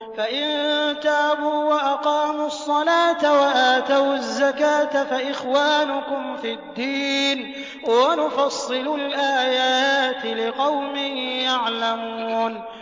فَإِن تَابُوا وَأَقَامُوا الصَّلَاةَ وَآتَوُا الزَّكَاةَ فَإِخْوَانُكُمْ فِي الدِّينِ ۗ وَنُفَصِّلُ الْآيَاتِ لِقَوْمٍ يَعْلَمُونَ